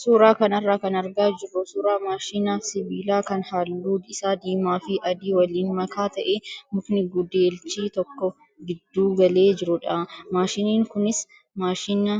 Suuraa kanarraa kan argaa jirru suuraa maashina sibiilaa kan halluun isaa diimaa fi adii waliin makaa ta'ee mukni gudeelchi toko gidduu galee jirudha. Maashiniin kunis maashina